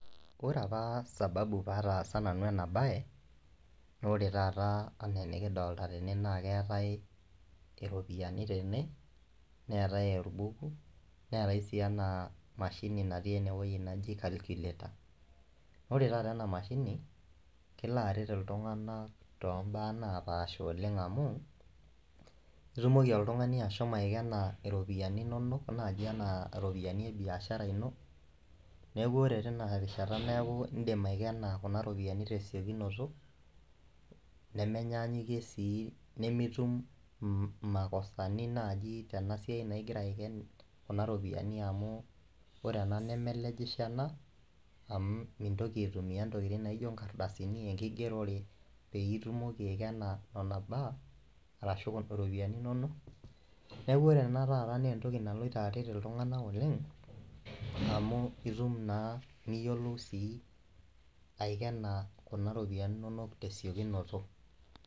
Ore apa sababu pataasa nanu ena baye nore taata anaa enikidolta tene naa keetae iropiyiani tene neetae orbuku neetae sii ena mashini natii enewoi naji calculator ore taata ena mashini kelo aret iltung'anak tombaa napaasha oleng amu itumoki oltung'ani ashomo aikena iropiyiani inonok naaji enaa iropiyiani e biashara ino neeku ore tina rishata neeku indim aikena kuna ropiyiani tesiokinoto nemanyanyikie sii nemitum im imakosani naaji tena siai naa igira aiken kuna ropiyiani amu ore ena nemelejisho ena amu mintoki aitumia intokitin naijio inkardasini enkigerore peyie itumoki aikena nona baa arashu iropiyiani inonok neku ore ena taata nentoki naloito aret iltung'anak oleng amu itum naa niyiolou sii aikena kuna ropiyiani inonok tesiokinoto.